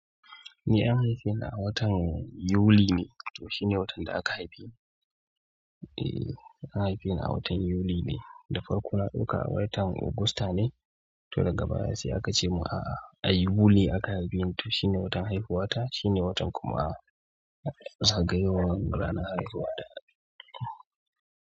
Eh, an haife ni a watan Yuli ne. To shine watan da aka haife ni. Eh an haife ni a watan Yuli ne, da farko na ɗuaka watan Ogusta ne, to daga baya sai aka ce mun a'a ai Yuli aka haife ni, to shine watan haihuwa ta, shine watan kuma zagayowar ranar haihuwa ta.